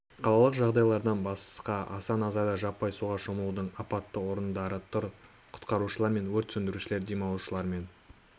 қалалық жағажайлардан басқа аса назарда жаппай суға шомылудың апатты орындары тұр құтқарушылар мен өрт сөндірушілер демалушылармен